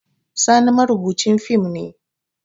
Sani marubucin fim ne